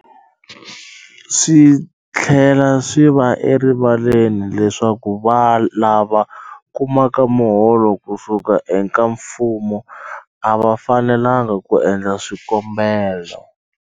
Swi tlhela swi va erivaleni leswaku lava kumaka miholo ku suka eka mfumo a va fanelanga ku endla swikombelo.